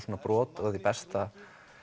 brot af því besta